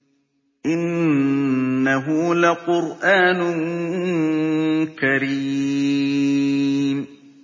إِنَّهُ لَقُرْآنٌ كَرِيمٌ